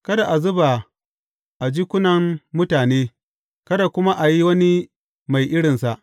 Kada a zuba a jikunan mutane, kada kuma a yi wani mai irinsa.